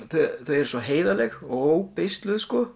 eru svo heiðarlegir og